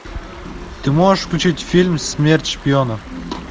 ты можешь включить фильм смерть шпиона